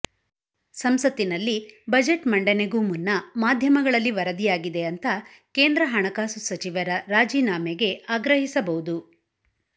ಸಂಸತ್ತಿನಲ್ಲಿ ಬಜೆಟ್ ಮಂಡನೆಗೂ ಮುನ್ನ ಮಾಧ್ಯಮಗಳಲ್ಲಿ ವರದಿಯಾಗಿದೆ ಅಂತಾ ಕೇಂದ್ರ ಹಣಕಾಸು ಸಚಿವರ ರಾಜೀನಾಮೆಗೆ ಆಗ್ರಹಿಸಬಹುದು